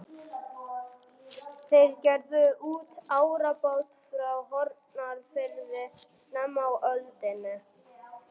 Þeir gerðu út árabát frá Hornafirði snemma á öldinni.